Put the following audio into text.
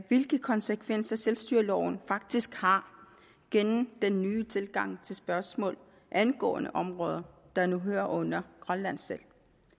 hvilke konsekvenser selvstyreloven faktisk har gennem den nye tilgang til spørgsmål angående områder der nu hører under grønland selv